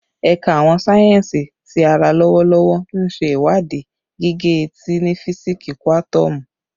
Ẹka Awọn sáyẹnsì Ti ara lọwọlọwọ nṣe iwadii gige-eti ni fisiksi kuatomu